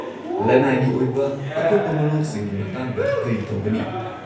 -ꯂꯅꯥꯏꯒꯤ ꯑꯣꯏꯕ ꯑꯀꯨꯞꯄ ꯃꯔꯣꯜꯁꯤꯡꯒꯤ ꯃꯇꯥꯡꯗ ꯀꯔꯤ ꯇꯧꯒꯅꯤ?